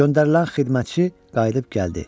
Göndərilən xidmətçi qayıdıb gəldi.